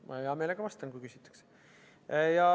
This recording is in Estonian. Ma hea meelega vastan, kui küsitakse.